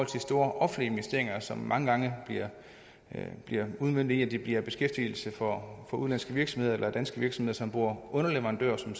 til store offentlige investeringer som mange gange bliver udmøntet i at det bliver beskæftigelse for udenlandske virksomheder eller danske virksomheder som bruger underleverandører som